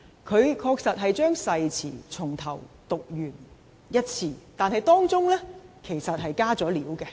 他確實把誓詞從頭讀完一次，但當中其實已"加料"。